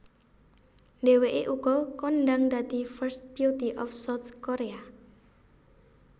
Dheweké uga kondhang dadi first beauty of South Korea